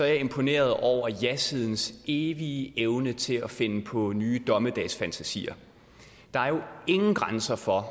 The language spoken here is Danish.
jeg imponeret over jasidens evige evne til at finde på nye dommedagsfantasier der er jo ingen grænser for